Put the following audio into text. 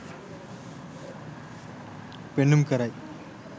පෙන්නුම් කරයි.